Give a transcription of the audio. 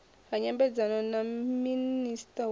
ha nyambedzano na minista wa